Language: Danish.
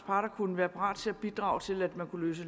parter kunne være parate til at bidrage til at man kunne løse